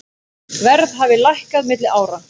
Verð hafi lækkað milli ára.